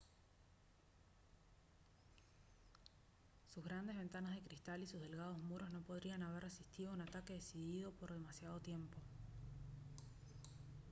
sus grandes ventanas de cristal y sus delgados muros no podrían haber resistido un ataque decidido por demasiado tiempo